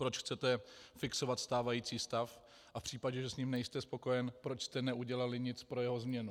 Proč chcete fixovat stávající stav a v případě, že s ním nejste spokojen, proč jste neudělali nic pro jeho změnu?